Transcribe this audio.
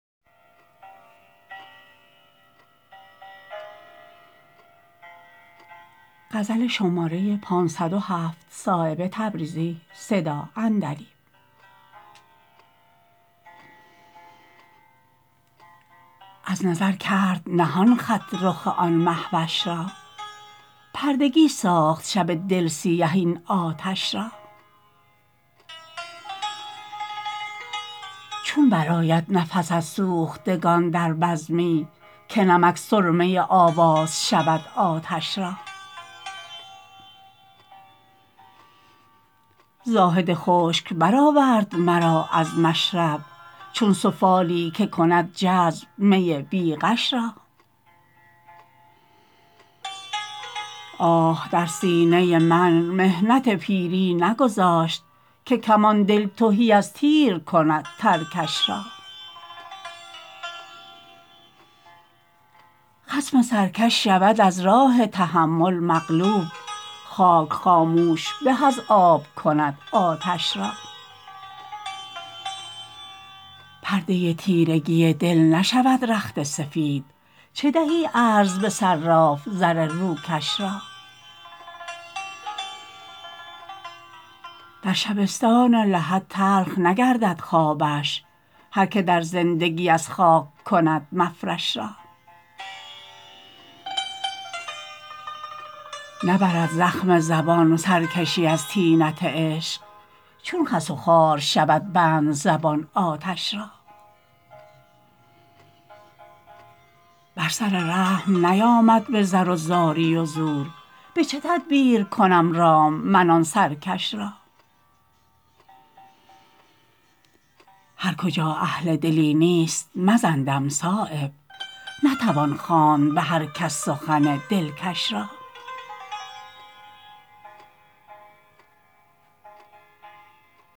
از نظر کرد نهان خط رخ آن مهوش را پردگی ساخت شب دل سیه این آتش را چون برآید نفس از سوختگان در بزمی که نمک سرمه آواز شود آتش را زاهد خشک برآورد مرا از مشرب چون سفالی که کند جذب می بی غش را آه در سینه من محنت پیری نگذاشت که کمان دل تهی از تیر کند ترکش را خصم سرکش شود از راه تحمل مغلوب خاک خاموش به از آب کند آتش را پرده تیرگی دل نشود رخت سفید چه دهی عرض به صراف زر روکش را در شبستان لحد تلخ نگردد خوابش هر که در زندگی از خاک کند مفرش را نبرد زخم زبان سرکشی از طینت عشق چون خس و خار شود بند زبان آتش را بر سر رحم نیامد به زر و زاری و زور به چه تدبیر کنم رام من آن سرکش را هر کجا اهل دلی نیست مزن دم صایب نتوان خواند به هر کس سخن دلکش را